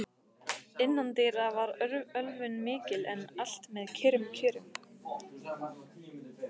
Innandyra var ölvun mikil, en allt með kyrrum kjörum.